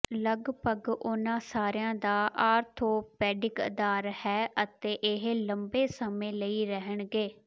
ਲਗਭਗ ਉਨ੍ਹਾਂ ਸਾਰਿਆਂ ਦਾ ਆਰਥੋਪੈਡਿਕ ਅਧਾਰ ਹੈ ਅਤੇ ਇਹ ਲੰਮੇ ਸਮੇਂ ਲਈ ਰਹਿਣਗੇ